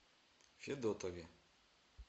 федотове